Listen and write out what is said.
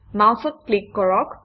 মাউচত click কৰক